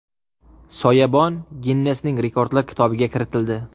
Soyabon Ginnesning Rekordlar kitobiga kiritildi.